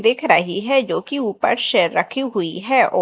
दिख रही है जोकि ऊपर से रखी हुई है।